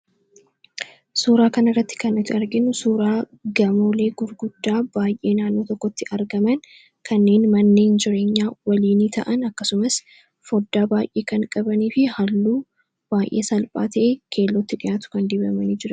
suuraa kana irratti kan iti arginnu suuraa gamoolee gurguddaa baay'ee naanoo tokkotti argaman kanneen mannee jireenyaa waliini ta'an akkasumas foddaa baay'ee kan qabanii fi halluu baay'ee salphaatee keellootti dhiyaatu kan dibamani jire